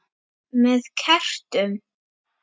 Með kertum?